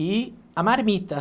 E a marmita.